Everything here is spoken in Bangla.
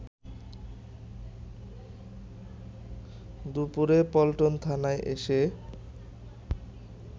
দুপুরে পল্টন থানায় এসে